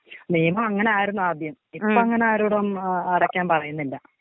നിയമം അങ്ങനെ ആയിരുന്നു ആദ്യം, ഇപ്പം അങ്ങനെ ആരോടും അടക്കാൻ പറയുന്നില്ല.